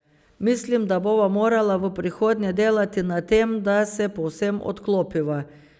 Mislim, da bova morala v prihodnje delati na tem, da se povsem odklopiva.